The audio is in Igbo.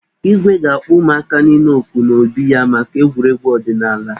Igwe ga-akpo ụmụaka niile òkù n'obi ya maka egwuregwu ọdịnaala.